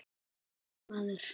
Nei, maður!